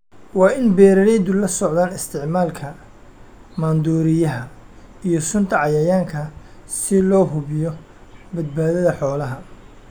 Waa in beeralaydu la socdaan isticmaalka maandooriyaha iyo sunta cayayaanka si loo hubiyo badbaadada xoolaha.